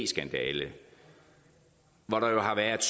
skandale hvor der jo har været